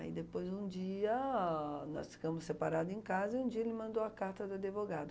Aí depois, um dia, nós ficamos separado em casa e um dia ele mandou a carta do advogado.